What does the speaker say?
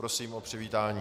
Prosím o přivítání.